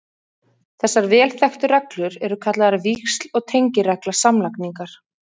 Þessar vel þekktu reglur eru kallaðar víxl- og tengiregla samlagningar.